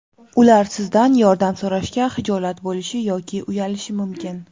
Ular sizdan yordam so‘rashga xijolat bo‘lishi yoki uyalishi mumkin.